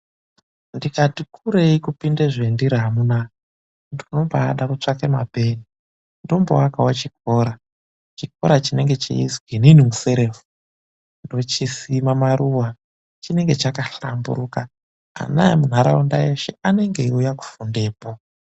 NDIKATI KUREI KUPINDE ZVENDIRI AMUNAA, NDINOBAADA KUTSVAKA MAPENI, NDOMBOAKAWO CHIKORA. CHIKORA CHINENGE CHEIZWI ININI MUSEREFU. NDOCHISIMA MARUWA, CHINENGE CHAKAHLAMBURUKA. ANA EMUNHARAUNDA ESHE ANENGE EIUYA KUFUNDEPO.